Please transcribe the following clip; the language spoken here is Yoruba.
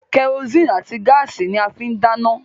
Kẹrosíìnì àti gáàsì ni wọ́n fín ń dáná